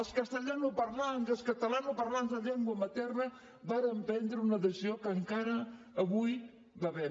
els castellanoparlants i els catalanoparlants de llengua materna vàrem prendre una decisió de la qual encara avui bevem